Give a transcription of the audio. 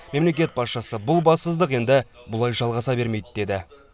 мемлекет басшысы бұл бассыздық енді бұлай жалғаса бермейді деді